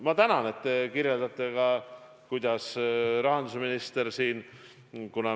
Ma tänan, et te kirjeldasite ka, kuidas rahandusminister ennast emotsionaalselt tunneb.